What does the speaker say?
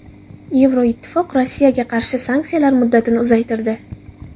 Yevroittifoq Rossiyaga qarshi sanksiyalar muddatini uzaytirdi.